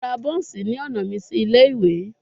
Mo ra buns ni ọna mi si ile-iwe